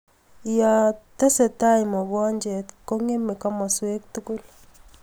Yaa tesetai mogonjet kongeme kimaswek tugul